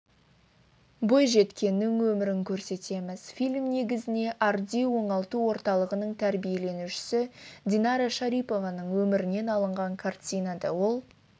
бойжеткеннің өмірін көрсетеміз фильм негізіне арди оңалту орталығының тәрбиеленушісі динара шарипованың өмірінен алынған картинада ол